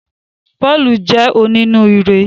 Pọ́ọ̀lù jẹ́ onínúure